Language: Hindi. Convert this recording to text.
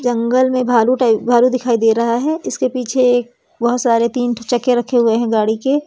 जंगल में भालू टाईप भालू दिखाई दे रहा है इसके पीछे एक बहुत सारे तीन ठे चक्के रखे हुए है गाड़ी के।